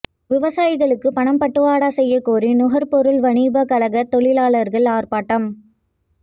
விவசாயிகளுக்கு பணம் பட்டுவாடா செய்யகோரி நுகர்பொருள் வாணிப கழக தொழிலாளர்கள் ஆர்ப்பாட்டம்